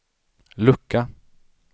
lucka